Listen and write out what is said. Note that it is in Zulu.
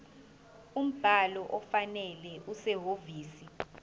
umbhalo ofanele okusehhovisi